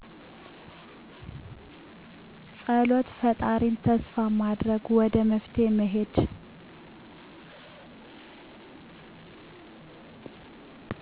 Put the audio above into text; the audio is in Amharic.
ፀሎት ፈጣሪን ተስፋ ማድረግ ወደ መፍትሔ መሄድ